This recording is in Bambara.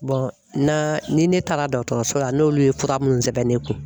na ni ne taara dɔgɔtɔrɔso la n'olu ye fura minnu sɛbɛn ne kun